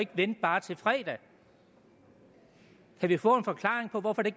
vente bare til på fredag kan vi få en forklaring på hvorfor det